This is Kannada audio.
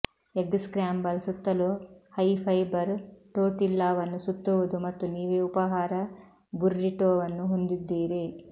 ಎಗ್ ಸ್ಕ್ರಾಂಬಲ್ ಸುತ್ತಲೂ ಹೈ ಫೈಬರ್ ಟೋರ್ಟಿಲ್ಲಾವನ್ನು ಸುತ್ತುವುದು ಮತ್ತು ನೀವೇ ಉಪಹಾರ ಬುರ್ರಿಟೋವನ್ನು ಹೊಂದಿದ್ದೀರಿ